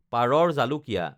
পাৰৰ জালুকীয়া